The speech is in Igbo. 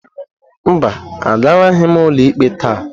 Mba, agaraghị m ụlọikpe taa.